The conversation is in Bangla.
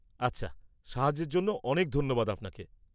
আচ্ছা, সাহায্যের জন্য অনেক ধন্যবাদ আপনাকে।